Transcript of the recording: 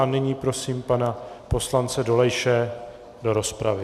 A nyní prosím pana poslance Dolejše do rozpravy.